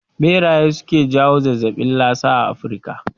Ɓeraye suke jawo zazzabin lasa a Afrika